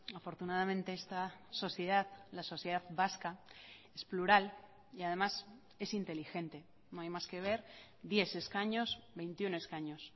afortunadamente esta sociedad la sociedad vasca es plural y además es inteligente no hay más que ver diez escaños veintiuno escaños